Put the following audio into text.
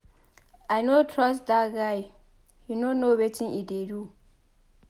I no trust dat guy he no know wetin e dey do.